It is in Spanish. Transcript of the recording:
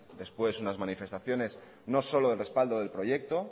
después unas manifestaciones no solo de respaldo del proyecto